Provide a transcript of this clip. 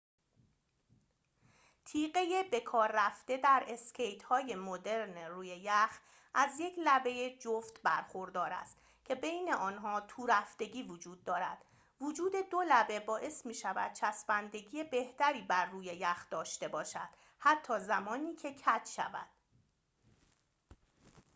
تیغه بکاررفته در اسکیت‌های مدرن روی یخ از یک لبه جفت برخوردار است که بین آنها تورفتگی وجود دارد وجود دو لبه باعث می‌شود چسبندگی بهتری بر روی یخ داشته باشد حتی زمانی که کج شود